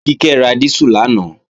Kíkẹ́ ra dísù lánàá